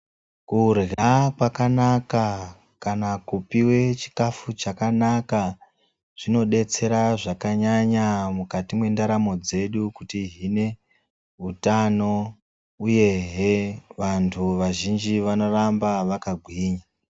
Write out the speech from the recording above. Kurya kwakanaka kana kupive chikafu chakanaka zvinobetsera zvakanyanya mukati mwendaramo dzedu kutihine hutano, uyehe vantu vazhinji vanoramba vakagwinya.